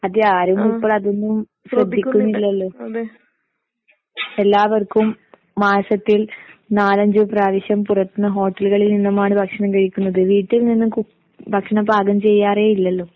അതെ ആരും ഇപ്പോൾ അതൊന്നും ശ്രദ്ധിക്കുന്നില്ലല്ലോ? എല്ലാവർക്കും മാസത്തിൽ നാലഞ്ച് പ്രാവശ്യം പുറത്ത്ന്ന് ഹോട്ടലുകളിൽ നിന്നുമാണ് ഭക്ഷണം കഴിക്കുന്നത്. വീട്ടിൽ നിന്ന് കുക് ഭക്ഷണം പാകം ചെയ്യാറേയില്ലല്ലോ?